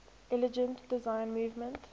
intelligent design movement